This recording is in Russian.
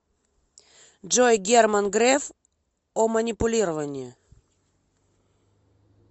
джой герман греф о манипулировании